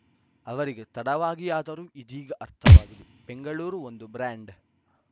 ಅವರಿಗೆ ತಡವಾಗಿಯಾದರೂ ಇದೀಗ ಅರ್ಥವಾಗಿದೆ ಬೆಂಗಳೂರು ಒಂದು ಬ್ರಾಂಡ್‌